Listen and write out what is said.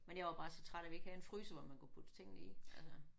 Men jeg var bare så træt af vi ikke havde en fryser hvor man kunne putte tingene i altså